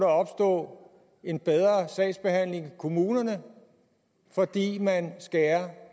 opstå en bedre sagsbehandling i kommunerne fordi man skærer